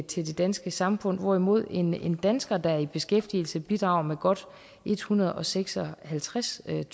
til det danske samfund hvorimod en dansker der er i beskæftigelse bidrager med godt ethundrede og seksoghalvtredstusind